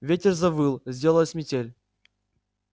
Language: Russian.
ветер завыл сделалась метель